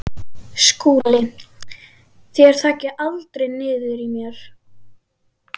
SKÚLI: Þér þaggið aldrei niður í mér.